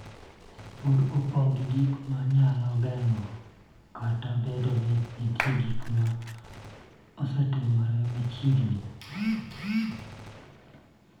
Pod opong� gi gik ma nyalo geng�e, kata obedo ni nitie gik ma osetimore machiegni.